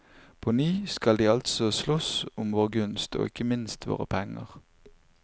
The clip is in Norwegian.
På ny skal de altså slåss om vår gunst, og ikke minst våre penger.